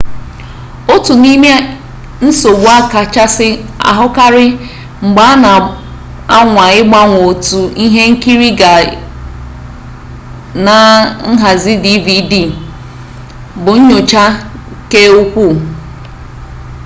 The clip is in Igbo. otu n'im ensogbu a kacha ahụkarị mgbe a na-anwa ịgbanwe otu ihe nkiri gaa na nhazi dvd bụ nnyocha-keukwuu